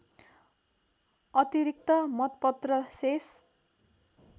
अतिरिक्त मतपत्र शेष